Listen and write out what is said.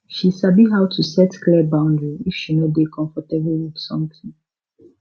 she sabi how to set clear boundary if she no dey comfortable with something